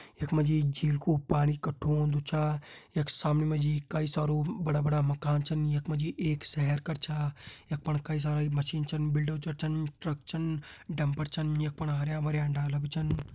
यख मा जी झील कु पाणी कठु होन्दु छा यख सामनि मा जी कई सारू बड़ा बड़ा मकान छन यख मा जी एक शहर कर छा यख फण कई सारा मशीन छन बुल्ल डोज़र छन ट्रक छन डम्फर छन यख फण हरयां भरयां डाला भी छन।